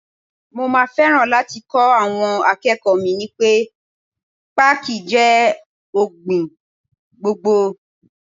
Mo máa fẹ́ràn láti kọ́ àwọn akẹ́kọ̀ọ́ mi ní pẹ́ Pákí jẹ́ ọ̀gbìn gbòǹgbò.